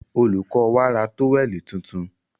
Olùkó wa ra tówẹ̀lì tuntun.